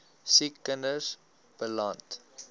siek kinders beland